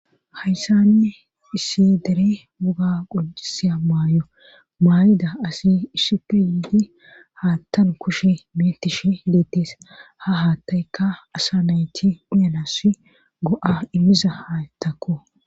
Hayssanne issi dere muga qojisiya maayo maay'ida asi ishshipe yiidi haattan kushe metishe hileettees ha haattaykka asa nayti uyanas go'a immiza ha tako